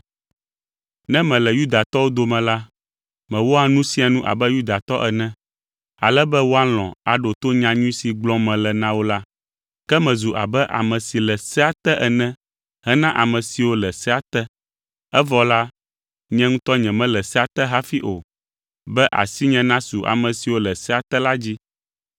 Ne mele Yudatɔwo dome la, mewɔa nu sia nu abe Yudatɔ ene, ale be woalɔ̃ aɖo to nyanyui si gblɔm mele na wo la. Ke mezu abe ame si le sea te ene hena ame siwo le sea te (evɔ la, nye ŋutɔ nyemele sea te hafi o), be asinye nasu ame siwo le sea te la dzi.